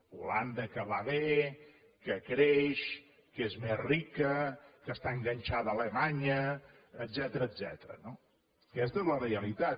holanda que va bé que creix que és més rica que està enganxada a alemanya etcètera no aquesta és la realitat